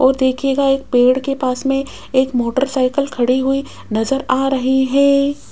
और देखिएगा एक पेड़ के पास में एक मोटरसाइकिल खड़ी हुई नजर आ रही है।